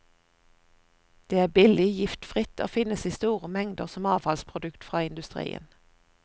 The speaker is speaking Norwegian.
Det er billig, giftfritt og finnes i store mengder som avfallsprodukt fra industrien.